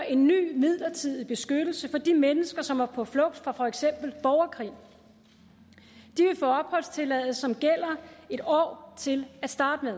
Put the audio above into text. en ny midlertidig beskyttelse for de mennesker som er på flugt fra for eksempel borgerkrig de vil få opholdstilladelse som gælder en år til at starte med